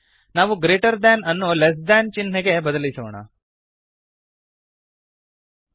ನಾವು greater than greater than ಅನ್ನು less than less than ಚಿಹ್ನೆಗೆ ಬದಲಿಸೋಣ